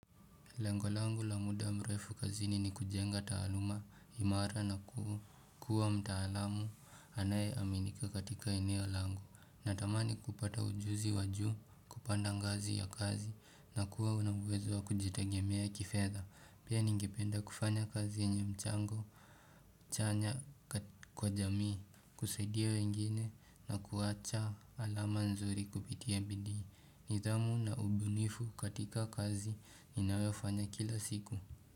Lengo langu la muda mrefu kazini ni kujenga taaluma, imara na kuwa mtaalamu anaye aminika katika eneo langu. Natamani kupata ujuzi wajuu kupanda ngazi ya kazi na kuwa unauwezo wa kujitagemea kifedha. Pia ningependa kufanya kazi yenye mchango chanya kwa jamii, kusaidia wengine na kuwacha alama nzuri kupitia bidii. Nithamu na ubunifu katika kazi ninayofanya kila siku.